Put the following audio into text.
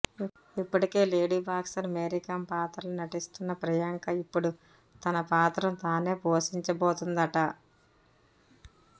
ఇప్పటికే lady boxer Mary Kom పాత్రలో నటిస్తున్న ప్రియాంక ఇప్పడు తన పాత్రను తానె పోషించబోతున్నాదట